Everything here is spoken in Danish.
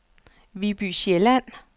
Viby Sjælland